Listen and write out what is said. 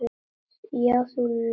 Já, þú laugst að mér.